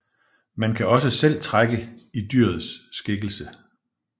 Man kan også selv trække i dyrets skikkelse